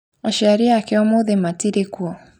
Aciari ake ũmũthĩ matirĩkuo